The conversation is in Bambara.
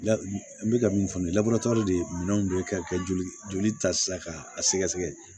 N bɛ ka min fɔ nin ye de ye minɛnw de ye ka kɛ joli ta sisan k'a sɛgɛsɛgɛ